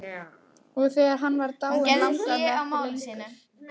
Og þegar hann var dáinn langaði mig ekki lengur.